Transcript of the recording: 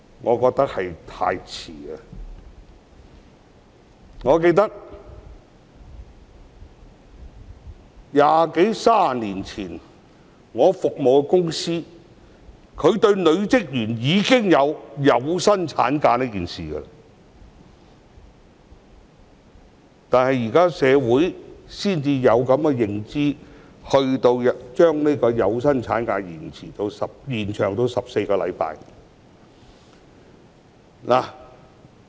我記得二三十年前，我服務的公司已經向女職員提供有薪產假，但社會到現在才有這個意識，將有薪產假延長至14星期。